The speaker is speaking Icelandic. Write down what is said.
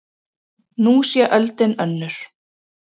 Nú sé öldin önnur.